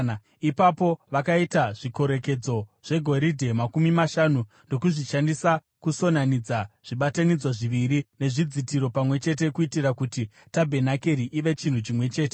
Ipapo vakaita zvikorekedzo zvegoridhe makumi mashanu ndokuzvishandisa kusonanidza zvibatanidzwa zviviri zvezvidzitiro pamwe chete kuitira kuti tabhenakeri ive chinhu chimwe chete.